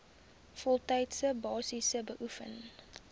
voltydse basis beoefen